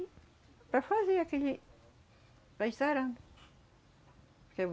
E para fazer aquele... para ir sarando. Porque